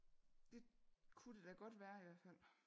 Det kunne det da godt være i hvert fald